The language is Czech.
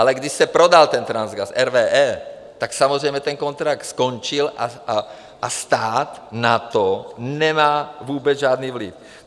Ale když se prodal ten Transgas RWE, tak samozřejmě ten kontrakt skončil a stát na to nemá vůbec žádný vliv.